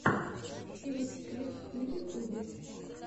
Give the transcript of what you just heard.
эликсир на ютубе